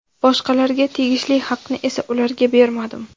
Boshqalarga tegishli haqni esa ularga bermadim.